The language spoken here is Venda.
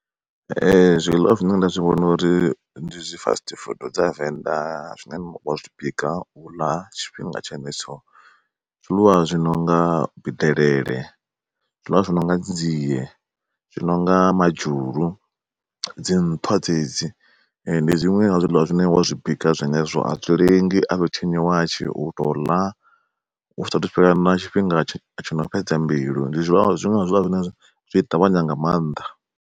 Ee zwiḽiwa zwine nda zwi vhona uri ndi zwi fast food dza venḓa zwine a zwi bika huna tshifhinga tshenetsho. Ndi zwiḽiwa zwi nonga delele, zwiḽiwa zwi nonga dzi dzie, zwi nonga madzhulu, dzi nṱhwa dzedzi ndi zwiṅwe zwa zwiḽiwa zwine wa zwi bika a zwi lengi a zwi tshinyi watshi u to ḽa hu sathu fhela na tshifhinga tshi no fhedza mbilu, ndi zwiṅwe zwa zwiḽiwa zwine zwi ṱavhanya nga maanḓa.